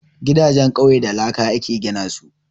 Gidajen ƙauye da laka aka gina su